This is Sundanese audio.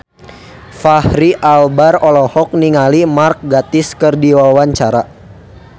Fachri Albar olohok ningali Mark Gatiss keur diwawancara